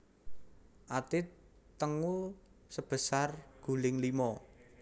Ati tengu sebesar guling limo